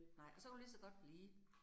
Nej, og så kan du ligeså godt blive